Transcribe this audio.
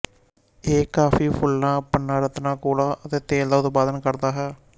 ਇਹ ਕਾਫ਼ੀ ਫੁੱਲਾਂ ਪੰਨਾਰਤਨਾਂ ਕੋਲਾ ਅਤੇ ਤੇਲ ਦਾ ਉਤਪਾਦਨ ਕਰਦਾ ਹੈ